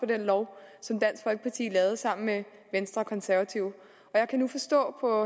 den lov som dansk folkeparti lavede sammen med venstre og konservative og jeg kan nu forstå på